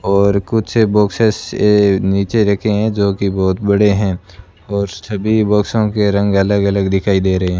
और कुछ बॉक्स से नीचे रखे हैं जो की बहुत बड़े हैं और सभी बॉक्सो के रंग अलग अलग दिखाई दे रहे हैं।